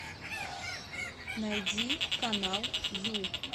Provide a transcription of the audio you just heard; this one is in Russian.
найди канал ю